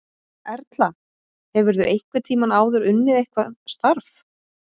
Erla: Hefurðu einhvern tímann áður unnið eitthvað starf?